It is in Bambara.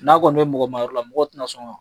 N'a kɔni bɛ mɔgɔmayɔrɔ la mɔgɔw tɛna sɔn ka